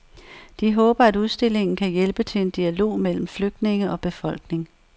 De håber, at udstillingen kan hjælpe til en dialog mellem flygtninge og befolkning.